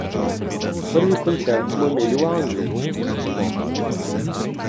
Prvi koncert smo imeli v Angliji, se spomnim.